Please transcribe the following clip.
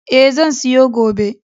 E, zan siyo gobe.